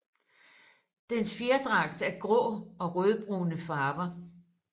Dens fjerdragt er i grå og rødbrune farver